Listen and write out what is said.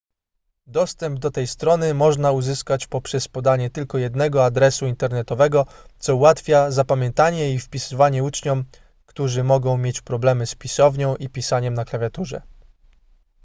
dostęp do tej strony można uzyskać poprzez podanie tylko jednego adresu internetowego co ułatwia zapamiętanie i wpisywanie uczniom którzy mogą mieć problemy z pisownią i pisaniem na klawiaturze